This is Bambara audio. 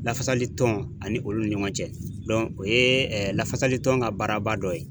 Lafasali tɔn ani olu ni ɲɔgɔn cɛ o ye lafasali tɔn ka baaraba dɔ ye.